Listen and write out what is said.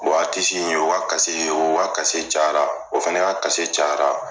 O aritisi in o ka kase in o ka kase cayara o fan ka ca o fana ka kase cayara